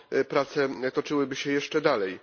to prace toczyłyby się jeszcze dalej.